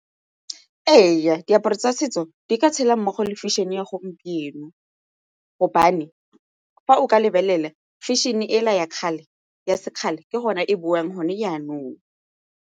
Ee, diaparo tsa setso di ka tshela mmogo le fashion-e ya gompieno gobane fa o ka lebelela fashion-e ela ya sekgale ke gone e boang gone jaanong.